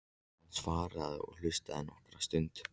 Hann svaraði og hlustaði nokkra stund.